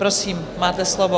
Prosím, máte slovo.